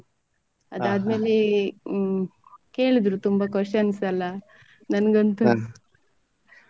ಅದಾದ್ ಮೇಲೆ ಹ್ಮ್‌ ಕೇಳಿದ್ರು ತುಂಬ questions ಎಲ್ಲ ನಂಗಂತೂ.